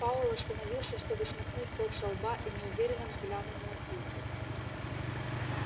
пауэлл остановился чтобы смахнуть пот со лба и неуверенно взглянул на кьюти